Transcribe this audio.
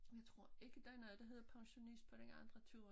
Jeg tror ikke der er noget der hedder pensionist på den andre ture